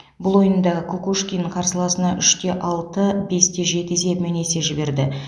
бұл ойында кукушкин қарсыласына үш те алты бес те жеті есебімен есе жіберді